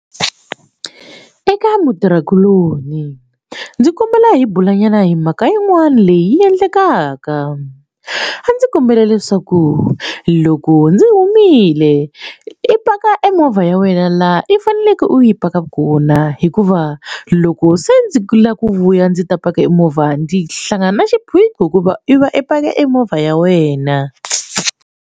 Eka mutirhikuloni ndzi kombela hi bulanyana hi mhaka yin'wani leyi endlekaka a ndzi kombela leswaku loko ndzi humile i paka emovha ya wena laha i faneleke u yi paka kona hikuva loko se ndzi lava ku vuya ndzi ta paka emovha ndzi hlangana na xiphiqo hikuva i va i paka emovha ya wena.